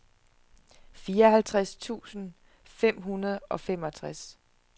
fireoghalvtreds tusind fem hundrede og femogtres